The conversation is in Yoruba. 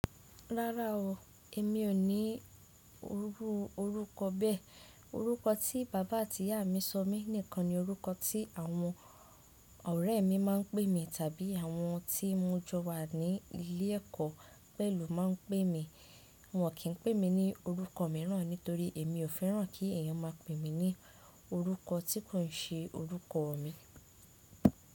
Rárá o, èmi ò ní iru orúkọ bẹ́ẹ̀. Orúkọ tí bàbá àti ìyá mi sọ mí nìkan ni orúkọ tí àwọn ọ̀rẹ́ mi má a ń pè mi tàbí àwọn tí mo jọ wa ní ilé ẹ̀kọ́ pẹ̀lú máa ń pè mi. Wọn kì ń pè mí ní orúkọ mìíràn nítorí èmi ò fẹ́ràn kí èèyàn má a pè mí ní orúkọ tí kò n ṣe orúkọ mi.